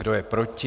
Kdo je proti?